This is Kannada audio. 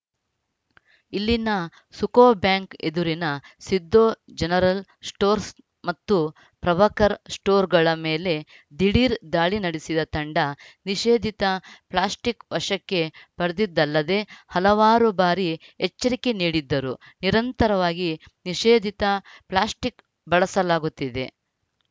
ಇಲ್ಲಿನ ಸುಕೋಬ್ಯಾಂಕ್‌ ಎದುರಿನ ಸಿದ್ದು ಜನರಲ್‌ ಸ್ಟೋರ್‍ಸ್ ಮತ್ತು ಪ್ರಭಾಕರ್‌ ಸ್ಟೋರ್‌ಗಳ ಮೇಲೆ ದಿಢೀರ್‌ ದಾಳಿ ನಡೆಸಿದ ತಂಡ ನಿಷೇಧಿತ ಪ್ಲಾಸ್ಟಿಕ್‌ ವಶಕ್ಕೆ ಪಡೆದಿದ್ದಲ್ಲದೆ ಹಲವಾರು ಬಾರಿ ಎಚ್ಚರಿಕೆ ನೀಡಿದ್ದರೂ ನಿರಂತರವಾಗಿ ನಿಷೇಧಿತ ಪ್ಲಾಸ್ಟಿಕ್‌ ಬಳಸಲಾಗುತ್ತಿದೆ